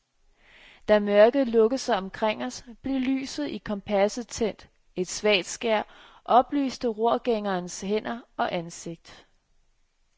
Da mørket lukkede sig omkring os, blev lyset i kompasset tændt, et svagt skær oplyste rorgængerens hænder og ansigt.